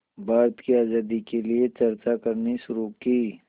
भारत की आज़ादी के लिए चर्चा करनी शुरू की